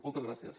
moltes gràcies